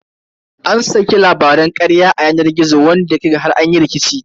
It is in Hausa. An saki labaran karya a kan yanar gizo wanda har ya kai ga an yi rikici.